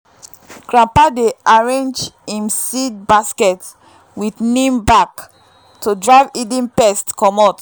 grandpa dey arrange him seed basket with neem bark to drive hidden pests comot.